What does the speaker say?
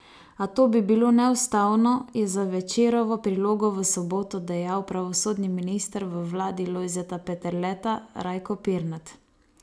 A to bi bilo neustavno, je za Večerovo prilogo V soboto dejal pravosodni minister v vladi Lojzeta Peterleta Rajko Pirnat.